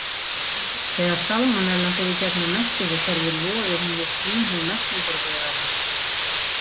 Þegar salmonellan fer í gegnum meltingarkerfið loðir hún við slímhúð meltingarvegarins.